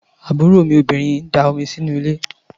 Àbúrò obìnrin Adé da omi sínú ilé.